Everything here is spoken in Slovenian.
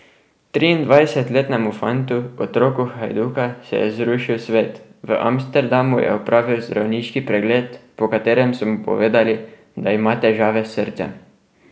Triindvajsetletnemu fantu, otroku Hajduka, se je zrušil svet, v Amsterdamu je opravil zdravniški pregled, po katerem so mu povedali, da ima težave s srcem.